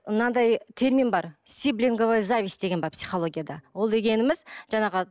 мынадай термин бар сиблинговая зависть деген бар психологияда ол дегеніміз жаңағы